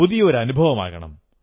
പുതിയ അനുഭവമാകണം